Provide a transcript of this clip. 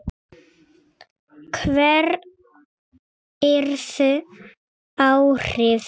Hver yrðu áhrif þess?